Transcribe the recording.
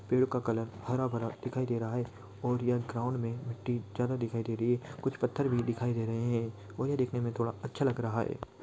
पेड़ का कलर हरा भरा दिखाई दे रहा है और यह ग्राउंड में मिट्टी ज्यादा दिखाई दे रही है कुछ पत्थर भी दिखाई दे रहे है और ये देखने में थोड़ा अच्छा लग रहा है।